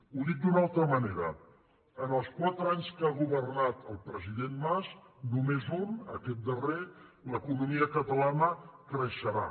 ho dic d’una altra manera en els quatre anys que ha governat el president mas només un aquest darrer l’economia catalana creixe·rà